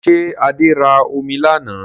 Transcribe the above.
Ṣé Adé ra omi lánàá?